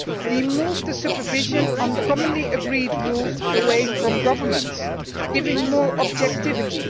We moved the supervision on commonly agreed rules away from governments, giving more objectivity.